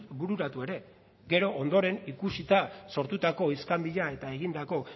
bururatu ere gero ondoren ikusita sortutako iskanbila eta egindako